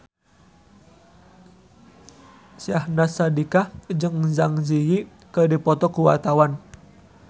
Syahnaz Sadiqah jeung Zang Zi Yi keur dipoto ku wartawan